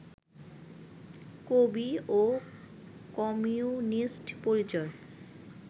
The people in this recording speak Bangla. কবি ও কমিউনিস্ট পরিচয়